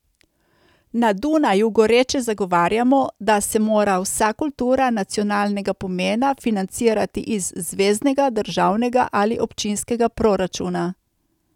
Na Dunaju goreče zagovarjamo, da se mora vsa kultura nacionalnega pomena financirati iz zveznega, državnega ali občinskega proračuna.